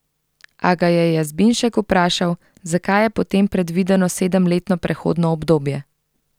A ga je Jazbinšek vprašal, zakaj je potem predvideno sedemletno prehodno obdobje.